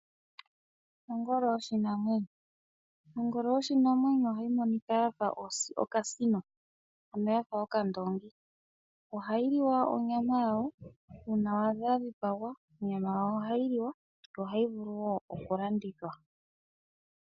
Ongolo yoshinamwenyo, ongolo yoshinamwenyo ohayi monika yafa okasino ano yafa okandongi, ohayiliwa onyama yayo una wadha yadhipangwa onyama yayo ohayiliwa yo ohayi vulu wo okulandithwa.